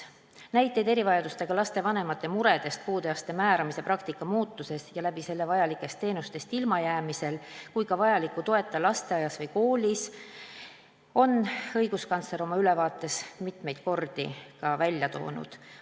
Näiteid erivajadustega laste vanemate murede kohta puude astme määramise praktika muutuse tõttu ja seetõttu vajalikest teenustest ilmajäämise pärast ning ka lasteaias või koolis vajaliku toeta jäämise pärast on õiguskantsler oma ülevaates mitmeid kordi ka välja toonud.